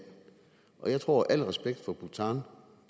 jeg tror al respekt for bhutan og